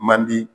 Man di